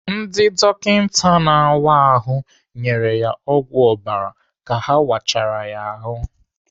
Ndị dọkịta na-áwá ahụ nyere ya ọgwụ ọbara ka ha wachara ya ahụ.